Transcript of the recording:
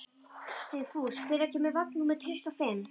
Vigfús, hvenær kemur vagn númer tuttugu og fimm?